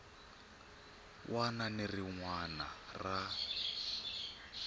wana ni rin wana ra